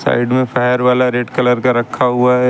Side में fire वाला red colour का रखा हुआ है।